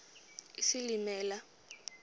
isilimela